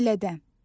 Ailədə.